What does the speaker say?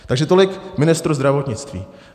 Takže tolik ministr zdravotnictví.